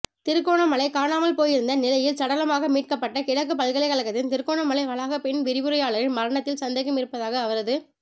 திருகோணமலை காணாமல்போயிருந்த நிலையில் சடலமாக மீட்கப்பட்ட கிழக்கு பல்கலைக்கழகத்தின் திருகோணமலை வளாக பெண் விரிவுரையாளரின் மரணத்தில் சந்தேகம் இருப்பதாக அவரது